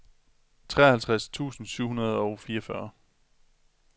treoghalvtreds tusind syv hundrede og fireogfyrre